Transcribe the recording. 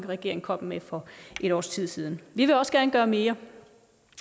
regering kom med for et års tid siden vi vil også gerne gøre mere